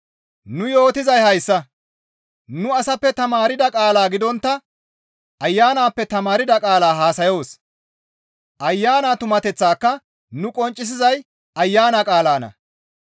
Nu yootizay hayssa; nuni asappe tamaarda qaala gidontta Ayanappe tamaarda qaala haasayoos; Ayana tumateththaaka nu qonccisizay Ayana qaalanna.